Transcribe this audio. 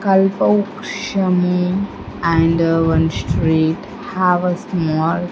Kalparukshamu and one street have a small --